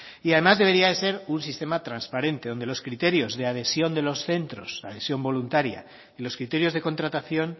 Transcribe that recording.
y además debería de ser un sistema transparente donde los criterios de adhesión de los centros adhesión voluntaria y los criterios de contratación